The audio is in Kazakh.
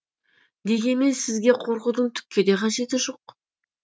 дегенмен сізге қорқудың түкке де қажеті жоқ